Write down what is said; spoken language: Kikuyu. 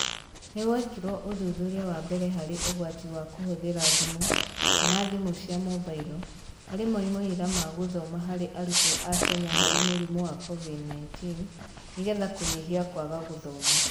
Nĩ gwekirwo ũthuthuria wa mbere harĩ ũgwati wa kũhũthĩra thimũ kana thimũ cia mobailo harĩ moimĩrĩra ma gũthoma harĩ arutwo a Kenya harĩ mũrimũ wa Covid-19 nĩ getha kũnyihia kwaga gũthoma.